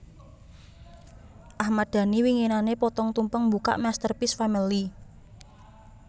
Ahmad Dhani winginane potong tumpeng mbukak Masterpiece Family